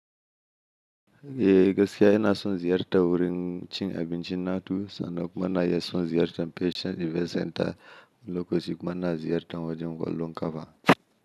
Eh, gaskiya ina son ziyarta wurin cin abincin na tu, sannan kuma na iya son ziyartan Peace and Event Center, lokacin kuma na ziyarta wajen ƙwallon kafa.